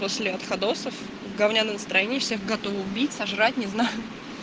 после отходосов говняное настроение всех готова убить сожрать не знаю